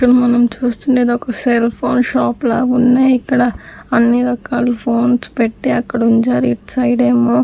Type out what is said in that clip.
మనం చూస్తుండేది ఒక సెల్ ఫోన్ షాప్ లాగున్నాయిక్కడ అన్ని రకాల ఫోన్స్ పెట్టి అక్కడుంచారు ఇట్ సైడేమో --